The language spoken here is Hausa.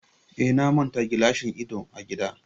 Eh, na manta gilashin idon a gida